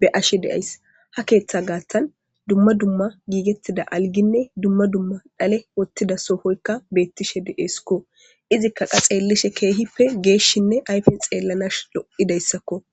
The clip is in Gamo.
be'ashe de'ays ha keeththa gaattan dumma dumma giigettida alginne dumma dumma dhale wottida soofoykka beettishe de7eeskko izikka qa xeellishe keehippe geeshshinne aypen xeellanash lo7idayssakko